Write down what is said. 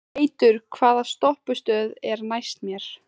Teitur, hvaða stoppistöð er næst mér?